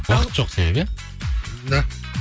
уақыт жоқ себебі иә да